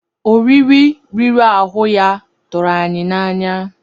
Oriri riri ahụ ya tụrụ anyị n'anya.